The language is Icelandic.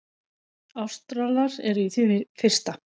Ástralar eru í því fyrsta.